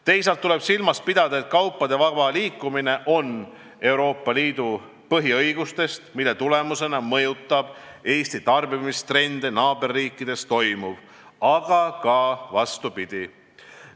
Teisalt tuleb silmas pidada, et kaupade vaba liikumine on üks Euroopa Liidu põhiõigustest, mille tulemusena mõjutab Eesti tarbimistrende naaberriikides toimuv, aga see mõju toimib ka vastupidi.